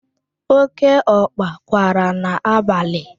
Oke ọkpa kwara n'abalị.